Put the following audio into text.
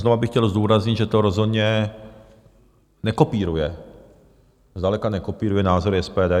Znovu bych chtěl zdůraznit, že to rozhodně nekopíruje, zdaleka nekopíruje, názory SPD.